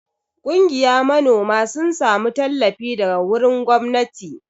Kungiya manoma sun samu tallafi daga wurin gwamnati.